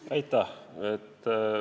Aitäh!